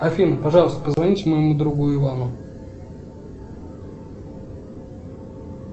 афина пожалуйста позвоните моему другу ивану